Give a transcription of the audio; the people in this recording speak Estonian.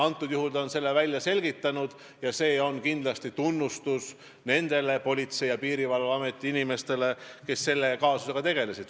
Antud juhul on ta selle välja selgitanud ja see on kindlasti tunnustus nendele Politsei- ja Piirivalveameti inimestele, kes selle kaasusega tegelesid.